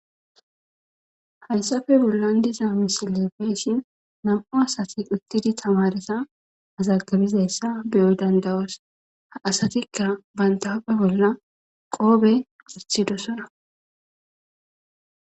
Haysappe bollan diza misileza beyushn 2 asat utid tamareta mazagibuzaysa beyo danda'os , asatika banta huphe bolla qope wothidosona.